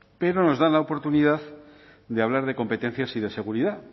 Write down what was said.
pero nos dan la oportunidad de hablar de competencias y de seguridad